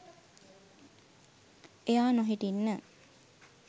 එයා නොහිටින්න